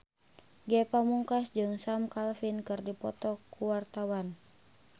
Ge Pamungkas jeung Sam Claflin keur dipoto ku wartawan